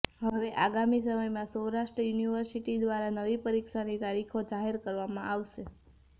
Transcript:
હવે આગામી સમયમાં સૌરાષ્ટ્ર યુનિવર્સિટી દ્વારા નવી પરીક્ષાની તારીખો જાહેર કરવામાં આવશે